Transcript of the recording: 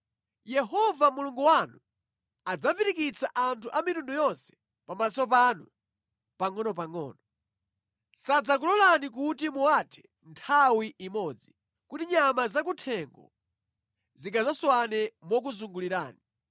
Yehova Mulungu wanu adzapirikitsa anthu a mitundu yonse pamaso panu, pangʼonopangʼono. Sadzakulolani kuti muwathe nthawi imodzi, kuti nyama zakuthengo zingadzaswane mokuzungulirani.